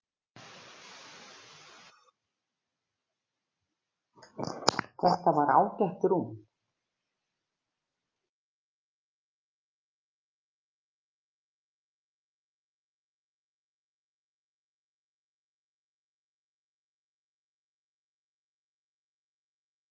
Þetta var ágætt rúm.